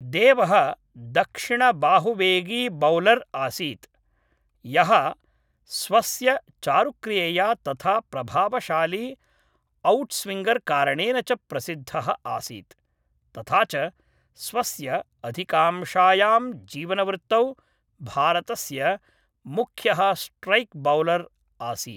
देवः दक्षिणबाहुवेगीबौलर् आसीत्, यः स्वस्य चारुक्रियया तथा प्रभावशाली औट्स्विङर् कारणेन च प्रसिद्धः आसीत्, तथा च स्वस्य अधिकांशायां जीवनवृत्तौ भारतस्य मुख्यः स्ट्रैक् बौलर् आसीत्।